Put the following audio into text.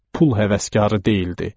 Pul həvəskarı deyildi.